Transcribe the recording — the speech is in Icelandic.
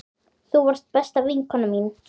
Þú varst besta vinkona mín.